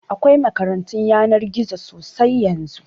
Akwai makarantun yanar gizo sosai yanzu